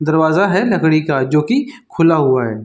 दरवाजा है लकड़ी का जो कि खुला हुआ है।